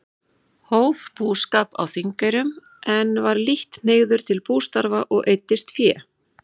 Hóf búskap á Þingeyrum, en var lítt hneigður til bústarfa og eyddist fé.